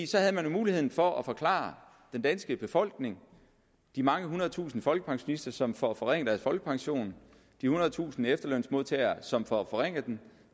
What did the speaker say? så havde man jo muligheden for at forklare den danske befolkning de mange hundrede tusinde folkepensionister som får forringet deres folkepension de hundrede tusinde efterlønsmodtagere som får forringet den